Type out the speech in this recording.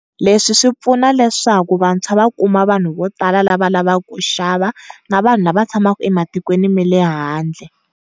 Leswi swi pfuna leswaku vantshwa va kuma vanhu vo tala lava lavaku ku xava na vanhu la va tshamaka ematikweni male handle.